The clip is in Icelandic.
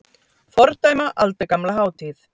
Fordæma aldagamla hátíð